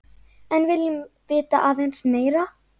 En viljum vita aðeins meira.